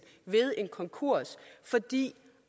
ved en konkurs fordi